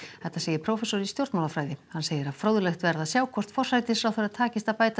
þetta segir prófessor í stjórnmálafræði hann segir að fróðlegt verði að sjá hvort forsætisráðherra takist að bæta